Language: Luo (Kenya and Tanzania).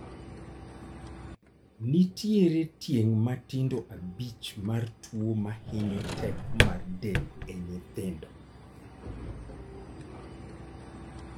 Nitiere tieng' matindo abich mar tuo mahinyo teko mar del e nyithindo